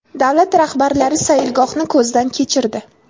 Davlat rahbarlari sayilgohni ko‘zdan kechirdi.